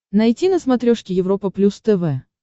найти на смотрешке европа плюс тв